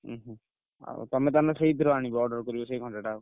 ହୁଁ ହୁଁ ଆଉ ତମେ ତାହେଲେ ସେଇଥିରୁ ଆଣିବ order କରିବ ସେଇ ଘଣ୍ଟା ଟା?